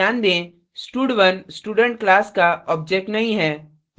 कृपया ध्यान दें stud1 student class का object नहीं है